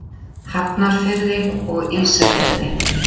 Hafnarfirði og Ísafirði.